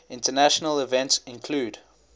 international events include